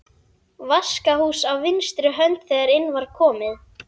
Vaskahús á vinstri hönd þegar inn var komið.